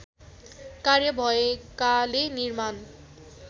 कार्य भएकाले निर्माण